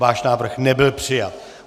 Váš návrh nebyl přijat.